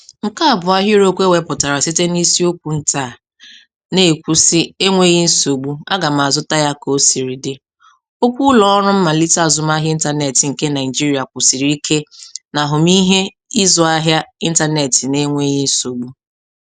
Nke a bụ ahịrịokwu ewepụtara site na isiokwu nta a "{Na-ekwu sị 'enweghị nsogbu, a ga m azụta ya ka o siri dị'}": Okwu ụlọ ọrụ mmalite azụmahịa ịntanetị nke Naịjiria kwusiri ike n'ahụmihe ịzụ ahịa ịntanetị na-enweghị nsogbu.